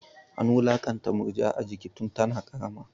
An wulakanta Murja a jiki tun tana ƙarama.